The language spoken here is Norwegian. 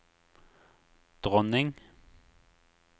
dronning